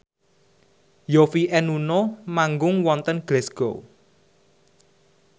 Yovie and Nuno manggung wonten Glasgow